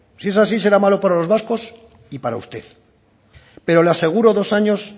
si es así será malo para los vascos y para usted pero le aseguro dos años